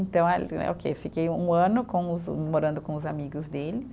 Então, é o que fiquei um ano com os, morando com os amigos dele.